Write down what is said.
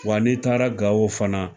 Wa n'i taara Gawo fana